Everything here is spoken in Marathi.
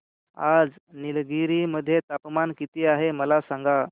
आज निलगिरी मध्ये तापमान किती आहे मला सांगा